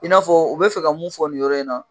I n'a fɔ u bɛ fɛ ka mun fɔ nin yɔrɔ in na